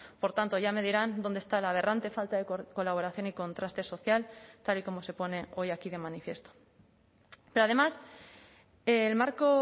por tanto ya me dirán dónde está la aberrante falta de colaboración y contraste social tal y como se pone hoy aquí de manifiesto pero además el marco